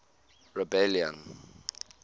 rebellion